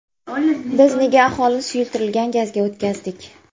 Biz nega aholini suyultirilgan gazga o‘tkazdik?